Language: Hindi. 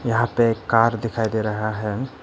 यहां पे एक कार दिखाई दे रहा है।